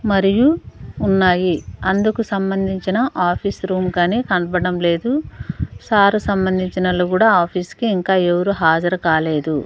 మరియు ఉన్నాయి అందుకు సంబంధించిన ఆఫీస్ రూమ్ కని కనపడ్డం లేదు సార్ కి సంబంధించిన ఆళ్ళు కూడా ఆఫీసుకి ఇంకా ఎవరు హాజరు కాలేదు.